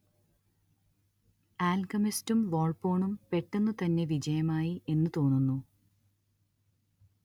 ആൽക്കെമിസ്റ്റും വോൾപ്പോണും പെട്ടെന്നുതന്നെ വിജയമായി എന്നു തോന്നുന്നു